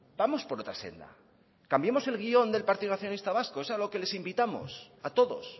vamos por otra senda cambiemos el guion del partido nacionalista vasco es a lo que les invitamos a todos